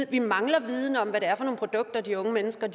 vi mangler viden om hvad det er for nogle produkter de unge mennesker